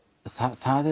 það